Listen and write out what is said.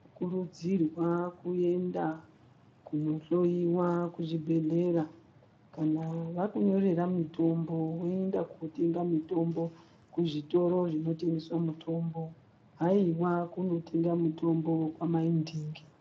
Tinokurudzirwa kuenda kunohloyiwa kuzvibhedhlera. Kana vakunyorera mutombo woenda kotenga mitombo kuzvitoro zvinotengesa mitombo, haiwa kunotenga mutombo kwamai ndingi.